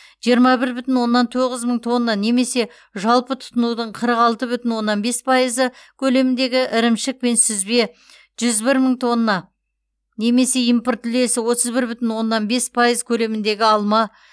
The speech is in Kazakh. жиырма бір бүтін оннан тоғыз мың тонна немесе жалпы тұтынудың қырық алты бүтін оннан бес пайызы көлеміндегі ірімшік пен сүзбе жүз бір мың тонна немесе импорт үлесі отыз бір бүтін оннан бес пайыз көлеміндегі алма